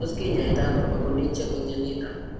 Tos kinyaita ano Pachyonychia congenita?